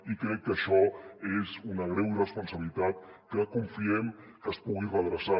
i crec que això és una greu irresponsabilitat que confiem que es pugui redreçar